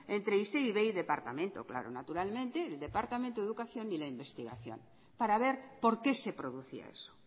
entre isei ivei y departamento de educación e investigación naturalmente para ver por qué se producía eso